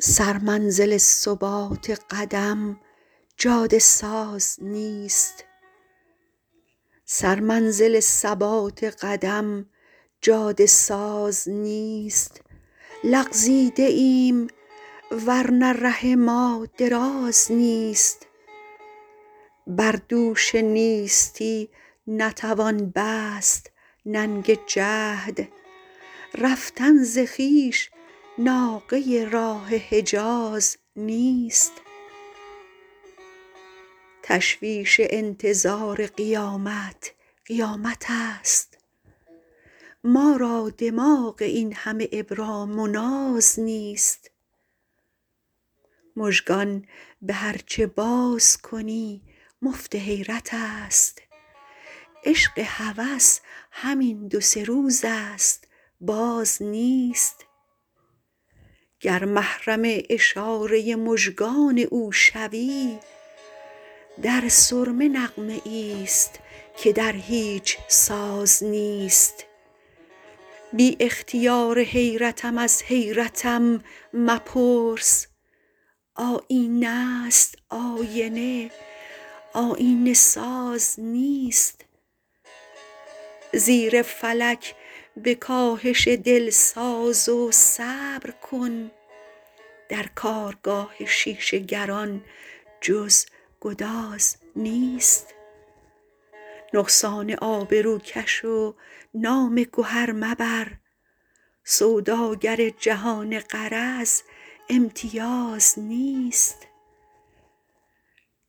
سرمنزل ثبات قدم جاده ساز نیست لغزیده ایم ورنه ره ما دراز نیست بر دوش نیستی نتوان بست ننگ جهد رفتن ز خویش ناقه راه حجاز نیست تشویش انتظار قیامت قیامت است ما را دماغ این همه ابرام ناز نیست مژگان به هرچه بازکنی مفت حیرت است عشق هوس همین دوسه روز است باز نیست گر محرم اشاره مژگان او شوی در سرمه نغمه ای ست که در هیچ ساز نیست بی اخثیار حیرتم از حیرتم مپرس آیینه است آینه آیینه ساز نیست زیر فلک به کاهش دل ساز و صبرکن درکارگاه شیشه گران جز گداز نیست نقصان آبروکش و نام گهر مبر سوداگر جهان غرض امتیاز نیست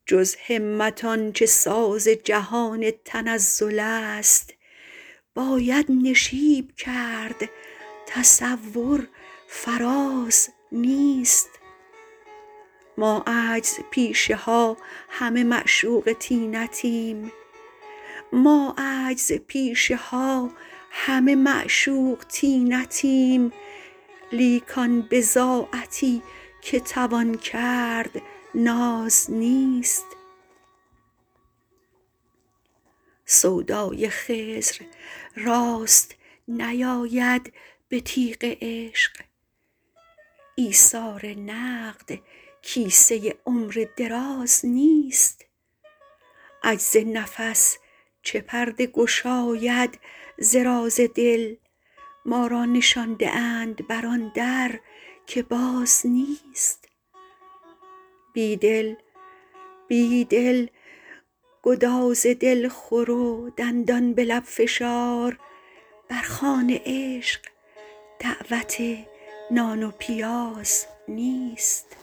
جز همت آنچه ساز جهان تنزل است باید نشیب کرد تصور فراز نیست ما عجزپیشه ها همه معشوق طینتیم لیک آن بضاعتی که توان کرد ناز نیست سودای خضر راست نیاید به تیغ عشق ایثار نقد کیسه عمر دراز نیست عجز نفس چه پرده گشاید ز راز دل ما را نشانده اند بر آن در که باز نیست بید ل گداز دل خور و دندان به لب فشار بر خوان عشق دعوت نان و پیاز نیست